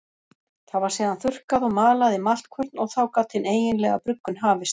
Það var síðan þurrkað og malað í maltkvörn og þá gat hin eiginlega bruggun hafist.